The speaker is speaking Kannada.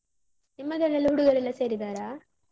ನಿಮ್ಮದ್ರಲೆಲ್ಲ ಹುಡುಗರೆಲ್ಲ ಸೇರಿದ್ದಾರಾ?